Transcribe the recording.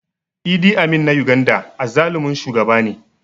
Idi Amin na Uganda azzalumin shugaba ne